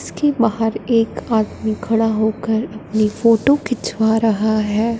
इसके बाहर एक आदमी खड़ा होकर अपनी फोटो खिंचवा रहा है।